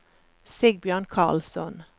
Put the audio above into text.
Sigbjørn Karlsson